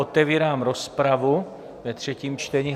Otevírám rozpravu ve třetím čtení.